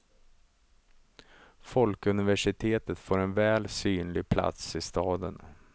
Folkuniversitet får en väl synlig plats i staden.